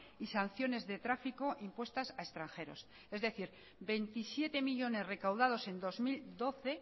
y sanciones de tráfico impuestas a extranjeros es decir veintisiete millónes recaudados en dos mil doce